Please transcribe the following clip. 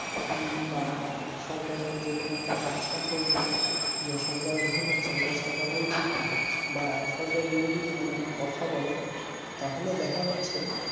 বা সরকারের যেকোনো একটা কাজ সম্পর্কিত যে সরকারের ভুল হচ্ছে এই কাজটা করা উচিত না বা সরকার বিরোধী যদি কোনও কথা বলে তাহলে দেখা যাচ্ছে